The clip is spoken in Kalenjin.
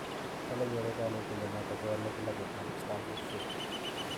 Kale gere kanetindet noto kowale klabuit ab Stamford Bridge